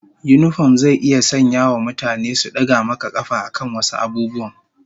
Yinifom zai iya sanyawa mutane su daga maka kafa akan wasu abubuwan